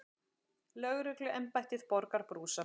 Lögregluembættið borgar brúsann.